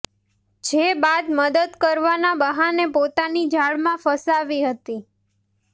જે બાદ મદદ કરવાના બહાને પોતાની જાળમાં ફસાવી હતી